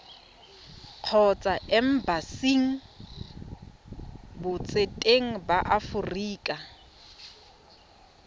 kgotsa embasing botseteng ba aforika